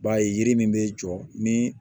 I b'a ye yiri min bɛ jɔ ni